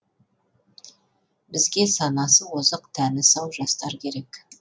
бізге санасы озық тәні сау жастар керек